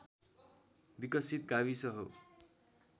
विकसित गाविस हो